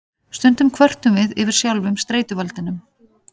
Stundum kvörtum við yfir sjálfum streituvaldinum.